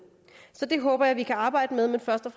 så